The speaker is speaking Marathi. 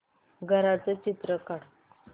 घराचं चित्र काढ